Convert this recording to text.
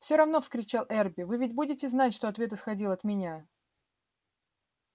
все равно вскричал эрби вы ведь будете знать что ответ исходил от меня